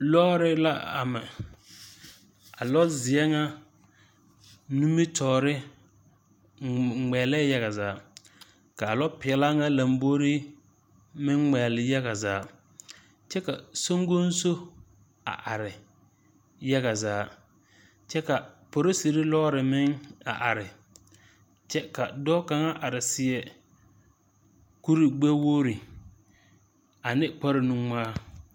loori la ama a lozeɛ ŋa nimitɔɔre ŋmɛgelɛɛ yaga zaa ka a lopeɛlaa ŋa meŋ lombori meŋ ŋmɛgele yaga zaa kyɛ ka soŋkoŋso a are yaga kyɛ polisri loori meŋ a are kyɛ ka dɔɔ kaŋa a are seɛ kuri gbɛwogri ane kpare nuŋmaa.